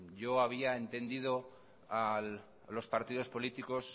yo había entendido a los partidos políticos